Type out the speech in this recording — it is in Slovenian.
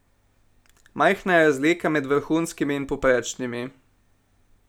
Majhna je razlika med vrhunskimi in povprečnimi.